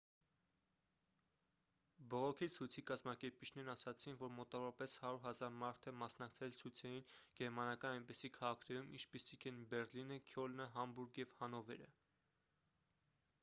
բողոքի ցույցի կազմակերպիչներն ասացին որ մոտավորապես 100 000 մարդ է մասնակցել ցույցերին գերմանական այնպիսի քաղաքներում ինչպիսիք են բեռլինը քյոլնը համբուրգը և հանովերը